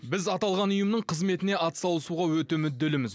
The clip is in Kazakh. біз аталған ұйымның қызметіне атсалысуға өте мүдделіміз